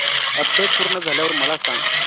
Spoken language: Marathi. अपडेट पूर्ण झाल्यावर मला सांग